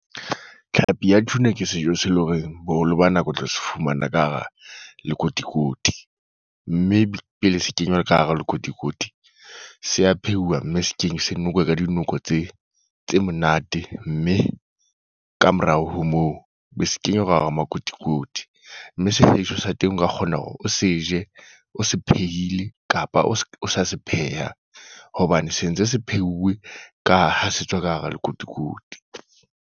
Tlhapi ya Tuna ke sejo se le horeng, boholo ba nako o tlo se fumana ka hara lekotikoti. Mme pele se kenywa ka hara lekotikoti. Se a pheuwa, mme se keng se nokwe ka dinoko tse tse monate. Mme kamorao ho moo, be se kenya ka hara makotikoti. Mme sejo sa teng nka kgona hore o se je, o se phehile, kapa o se o sa se pheha. Hobane sentse se pheuwe ka ha se tswa ka hara lekotikoti.